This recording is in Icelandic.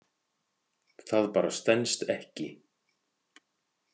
Það bara stenst ekki.